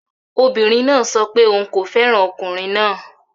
Obìnrin náà sọ pé òun kò fẹ́ràn ọkùnrin náà.